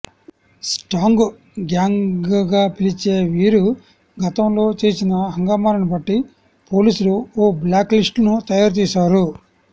stag గ్యాంగ్స్గా పిలిచే వీరు గతంలో చేసిన హంగామాలను బట్టి పోలీసులు ఓ బ్లాక్లిస్ట్ తయారు చేశారు